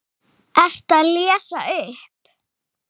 Ertu að lesa upp?